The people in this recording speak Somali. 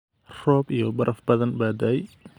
Roob iyo baraf badan baa da’ay